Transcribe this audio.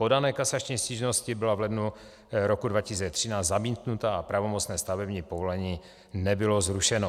Podaná kasační stížnost byla v lednu roku 2013 zamítnuta a pravomocné stavební povolení nebylo zrušeno.